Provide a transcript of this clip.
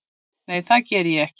Nei það geri ég ekki.